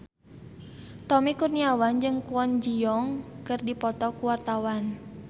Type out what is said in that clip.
Tommy Kurniawan jeung Kwon Ji Yong keur dipoto ku wartawan